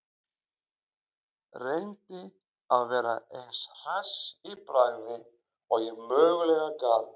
Reyndi að vera eins hress í bragði og ég mögulega gat.